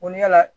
Kon yaala